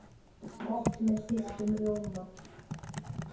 Gott með þeyttum rjóma!